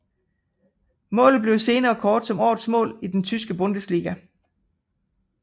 Målet blev senere kåret som årets mål i den tyske Bundesliga